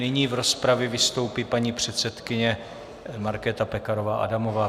Nyní v rozpravě vystoupí paní předsedkyně Markéta Pekarová Adamová.